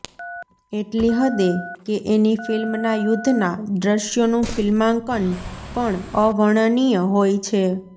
એટલી હદે કે એની ફિલ્મના યુદ્ધના દ્રશ્યોનું ફિલ્માંકન પણ અવર્ણનીય હોય છે